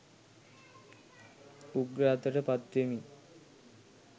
උග්‍ර අතට පත්වෙමින්